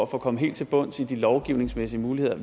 komme helt til bunds i de lovgivningsmæssige muligheder